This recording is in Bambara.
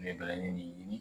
Nɛgɛbalani nin